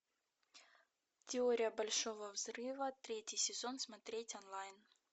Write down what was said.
теория большого взрыва третий сезон смотреть онлайн